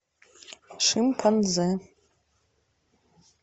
шимпанзе